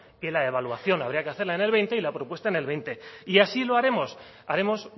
que la evaluación habría que hacerla en el veinte y la propuesta en el veinte y así lo haremos haremos